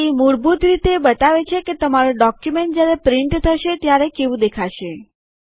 તે મૂળભૂત રીતે બતાવે છે કે તમારું ડોક્યુમેન્ટ જ્યારે પ્રિન્ટ થશે ત્યારે કેવું દેખાશે